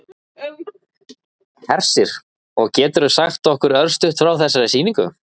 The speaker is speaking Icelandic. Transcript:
Hersir: Og geturðu sagt okkur örstutt frá þessari sýningu?